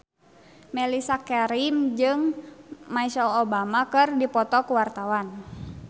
Mellisa Karim jeung Michelle Obama keur dipoto ku wartawan